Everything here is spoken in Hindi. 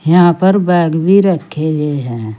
यहां पर बैग भी रखे हुए हैं।